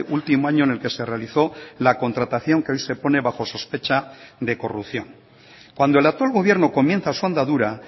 último año en el que se realizó la contratación que hoy se pone bajo sospecha de corrupción cuando el actual gobierno comienza su andadura